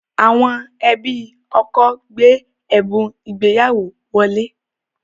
Àwọn ẹbí ọkọ gbé ẹ̀bùn ìgbéyàwó wọlé